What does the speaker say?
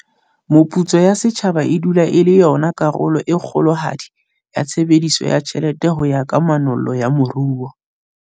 Meputso ya setjhaba e dula e le yona karolo e kgolohadi ya tshebediso ya tjhelete ho ya ka manollo ya moruo.